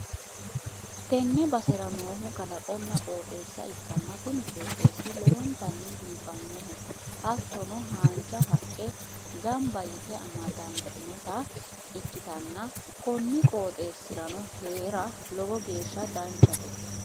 tenne basera noohu kalaqonna qooxeessa ikkanna, kuni qooxeessi lowontanni biifannoho, hattono haanja haqqe gamba yite amadantinota ikkitanna, konni qooxeessi'rano hee'ra lowo geeshsha danchate.